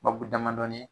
Bakuru damadɔni ye